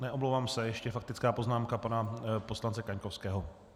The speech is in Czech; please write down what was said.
Omlouvám se, ještě faktická poznámka pana poslance Kaňkovského.